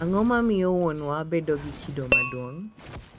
Ang’o ma miyo wuonwa bedo gi kido maduong’